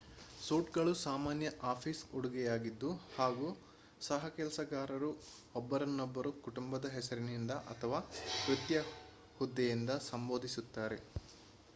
suit ಗಳು ಸಾಮಾನ್ಯ office ಉಡುಗೆಯಾಗಿದ್ದು ಹಾಗೂ ಸಹಕೆಲಸಗಾರರು ಒಬ್ಬರನ್ನೊಬ್ಬರು ಕುಟುಂಬದ ಹೆಸರಿನಿಂದ ಅಥವಾ ವೃತ್ತಿಯ ಹುದ್ದೆಯಿಂದ ಸಂಬೋಧಿಸುತ್ತಾರೆ